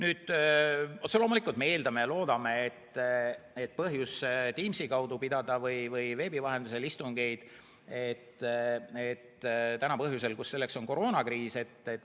Otse loomulikult me eeldame ja loodame, et põhjus pidada istungeid Teamsi kaudu või veebi vahendusel on praegusel juhul koroonakriis.